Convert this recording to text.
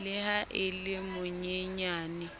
le ha a le monyenyane